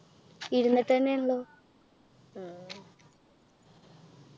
ഇരുന്നിട്ടെന്നെയാണല്ലോ